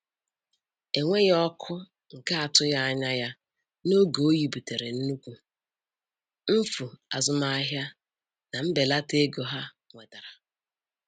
Enweghị ọkụ nke atụghị anya ya n'oge oyi butere nnukwu mfu azụmahịa na mbelata ego ha nwetara.